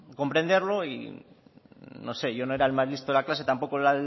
comprenderlo y no sé yo no era el más listo de la clase tampoco el